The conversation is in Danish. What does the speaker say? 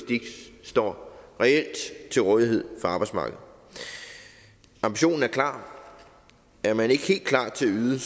står reelt til rådighed for arbejdsmarkedet ambitionen er klar er man ikke helt klar til at yde